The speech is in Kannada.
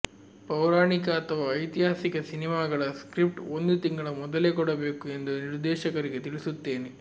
ಪೌರಾಣಿಕ ಅಥವಾ ಐತಿಹಾಸಿಕ ಸಿನಿಮಾಗಳ ಸ್ಕ್ರಿಪ್ಟ್ ಒಂದು ತಿಂಗಳ ಮೊದಲೇ ಕೊಡಬೇಕು ಎಂದು ನಿರ್ದೇಶಕರಿಗೆ ತಿಳಿಸುತ್ತೇನೆ